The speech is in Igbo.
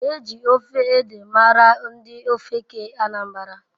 Eji ofe ede mara ndi ofeke Anambara.